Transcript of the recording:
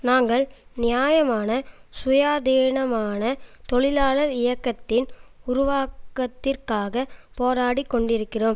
நாங்கள் நியாயமான சுயாதீனமான தொழிலாளர் இயக்கத்தின் உருவாக்கத்திற்காக போராடிக்கொண்டிருக்கிறோம்